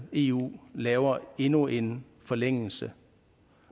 eu laver endnu en forlængelse